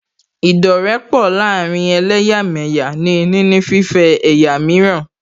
Ìdọ́rẹ̀ẹ́pọ láàárín ẹlẹ́yàmẹ̀yà ní níní fífẹ́ ẹ̀yà mìíràn